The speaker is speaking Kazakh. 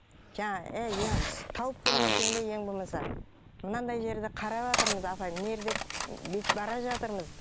жаңағы эй тауып келмесең де ең болмаса мынандай жерді қараватырмыз апай мына жерде бүйтіп бара жатырмыз